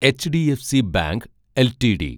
HDFC bank LTD